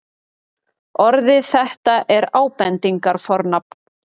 orðið þetta er ábendingarfornafn